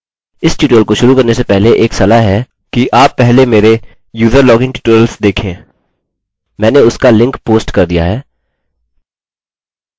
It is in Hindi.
इस ट्यूटोरियल को शुरू करने से पहले एक सलाह है कि आप पहले मेरे user login ट्यूटोरियल्स देखें मैंने उसका लिंक पोस्ट कर दिया है